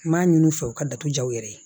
N m'a ɲini u fɛ u ka datugu yɛrɛ